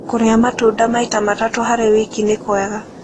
Kũrĩa matũnda maĩta matatũ harĩ wĩkĩ nĩkwega